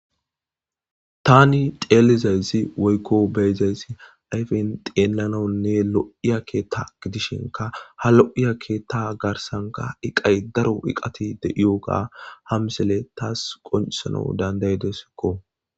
tani xeelizayzi woykko beyzayssi ayfen xeelananne lo7iya keetta gidishinka ha lo7iya keetta garsanka iqay daro iqati de7iyoga hamsele taas qoncesana dandaydesikko